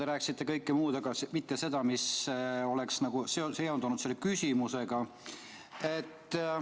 Te rääkisite kõike muud, aga mitte seda, mis oleks nagu seondunud selle küsimusega.